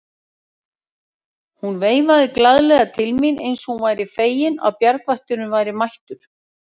Hún veifaði glaðlega til mín eins og hún væri fegin að bjargvætturinn væri mættur.